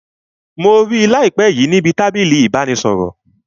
Mo rí láìpé níbi tábìlì ìbánisọ̀rọ̀